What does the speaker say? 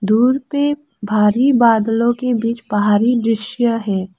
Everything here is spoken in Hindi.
दूर पे भारी बादलों के बीच पहाड़ी दृश्य है।